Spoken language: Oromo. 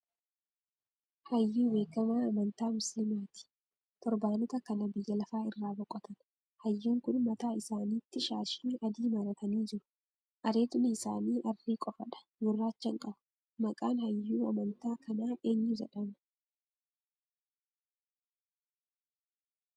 Hayyuu beekamaa amantaa musiliimaati; torbanoota kana biyya lafaa irraa boqotan. Hayyuun kun mataa isaaniitti shaashii adii maratanii jiru. Areedni isaanii arrii qofaadha gurraacha hin qabu. Maqaan hayyuu amantaa kanaa eenyu jedhamaa?